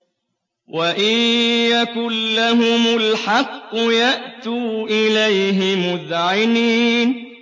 وَإِن يَكُن لَّهُمُ الْحَقُّ يَأْتُوا إِلَيْهِ مُذْعِنِينَ